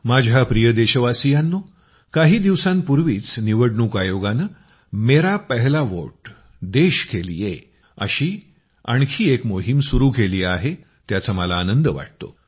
माझ्या प्रिय देशवासियांनो काही दिवसांपूर्वीच निवडणूक आयोगानं मेरा पहला वोट देश के लिए अशी आणखी एक मोहीम सुरू केली आहे त्याचा मला आनंद वाटतो